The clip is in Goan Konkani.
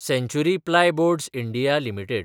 सँचुरी प्लायबोड्स (इंडिया) लिमिटेड